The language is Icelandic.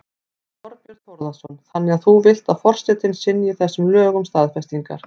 Þorbjörn Þórðarson: Þannig að þú vilt að forsetinn synji þessum lögum staðfestingar?